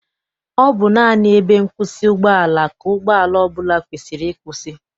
Ọ bụ naanị ebe nkwụsị ụgbọala ka ụgbọala ọbụla kwesiri ịkwụsị.